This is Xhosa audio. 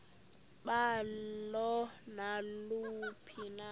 balo naluphi na